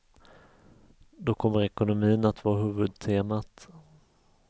Då kommer ekonomin att vara huvudtemat.